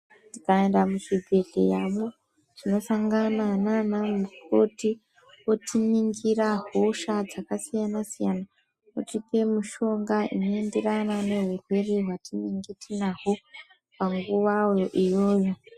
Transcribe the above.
Tikaenda muzvibhehleya mwo tinosangana nana mukoti votiningira hosha dzakasiyana siyana votipa mishonga inoenderana nehurwere hwatinenge tinahwo panguva iyoyo.